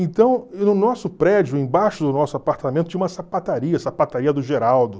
Então, no nosso prédio, embaixo do nosso apartamento, tinha uma sapataria, a sapataria do Geraldo.